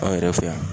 An yɛrɛ fɛ yan